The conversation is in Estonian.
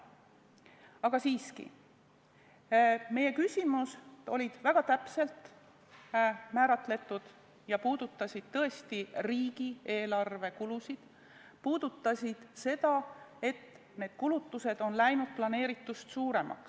Aga siiski, meie küsimused olid väga täpselt määratletud ja puudutasid tõesti riigieelarve kulusid ning seda, et meie kulutused on läinud planeeritust suuremaks.